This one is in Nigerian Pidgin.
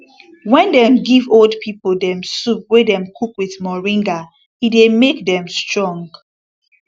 wen dem give old pipo dem soup wey dem cook with moringa e dey make dem strong